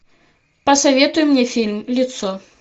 посоветуй мне фильм лицо